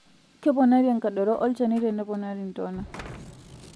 Keponari enkadoroo olchani teneponari entonaa.